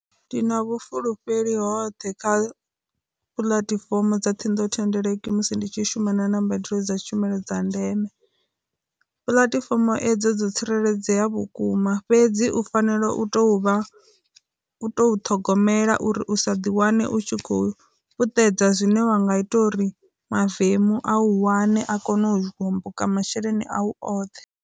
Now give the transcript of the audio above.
Ndi na vhufulufheli hoṱhe kha puḽatifomo dza ṱhingothendeleki musi ndi tshi shuma na na mbadelo dza tshumelo dza ndeme, puḽatifomo edzo dzo tsireledzea vhukuma fhedzi u fanela u to vha, u to ṱhogomela uri u sa ḓi wane u khou puṱedza zwine wa nga ita uri mavemu a u wane a kone u homboka masheleni au oṱhe.